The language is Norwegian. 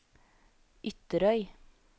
Ytterøy